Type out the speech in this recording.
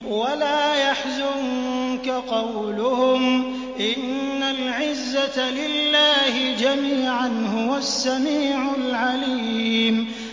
وَلَا يَحْزُنكَ قَوْلُهُمْ ۘ إِنَّ الْعِزَّةَ لِلَّهِ جَمِيعًا ۚ هُوَ السَّمِيعُ الْعَلِيمُ